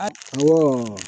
A